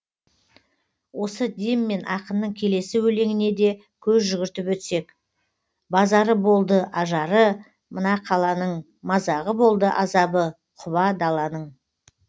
осы деммен ақынның келесі өлеңіне де көз жүгіртіп өтсек базары болды ажары мына қаланың мазағы болды азабы құба даланың